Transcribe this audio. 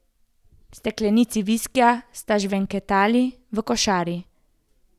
Steklenici viskija sta žvenketali v košari.